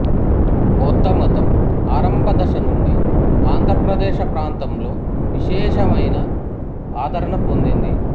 బౌద్ధమతం ఆరంభ దశనుండి ఆంధ్ర ప్రదేశ ప్రాంతలో విశేషమయన ఆదరణ పొందింది